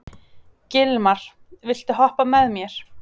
Gilmar, viltu hoppa með mér?